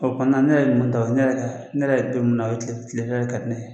O fana na ne yɛrɛ ɲuman taara ne yɛrɛ y'a ye don min na kile fɛla de ka di ne ye.